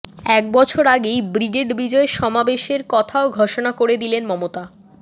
এক বছর আগেই ব্রিগেডে বিজয় সমাবেশের কথাও ঘোষণা করে দিলেন মমতা